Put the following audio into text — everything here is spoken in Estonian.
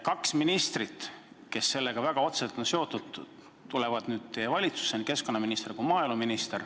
Kaks ministrit, kes selle teemaga väga otseselt on seotud, on keskkonnaminister ja maaeluminister.